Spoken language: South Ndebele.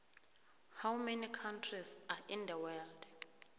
how many countries are in the world